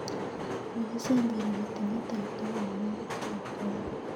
Mokisemberi kotinye toptok amun kitwoetwoe.